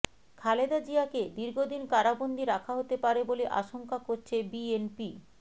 খালেদা জিয়াকে দীর্ঘদিন কারাবন্দী রাখা হতে পারে বলে আশংকা করছে বিএনপি